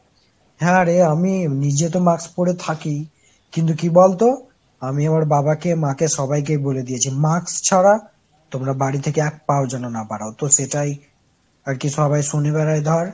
হ্যাঁ রে আমি নিজে তো mask পরে থাকি ই, কিন্তু কি বলতো ? আমি আমার বাবাকে, মাকে সবাইকে বলে দিয়েছি, mask ছাড়া তোমরা বাড়ি থেকে এক পা ও যেন না বার হও। তো সেটাই আর কি সবাই শনিবার এই ধর।